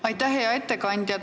Hea ettekandja!